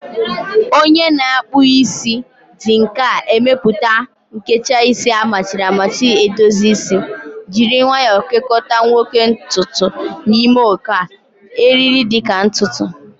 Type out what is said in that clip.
Onye na-akpụ isi ji nka emepụta a nkecha isi amachiri amachi edozi isi, jiri nwayo kekota nwoke ntutu n'ime oké, eriri-dị ka ntutu